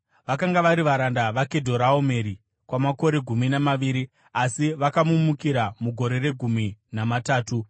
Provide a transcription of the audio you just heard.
Vakanga vari varanda vaKedhoraomeri kwamakore gumi namaviri, asi vakamumukira mugore regumi namatatu.